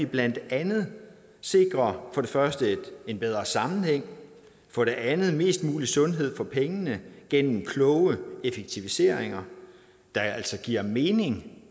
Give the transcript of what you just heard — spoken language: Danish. blandt andet sikrer for det første en bedre sammenhæng for det andet mest mulig sundhed for pengene gennem kloge effektiviseringer der altså giver mening